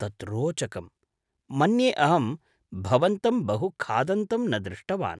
तत् रोचकम्, मन्ये अहं भवन्तं बहुखादन्तं न दृष्टवान्।